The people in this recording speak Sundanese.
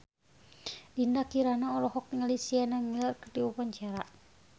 Dinda Kirana olohok ningali Sienna Miller keur diwawancara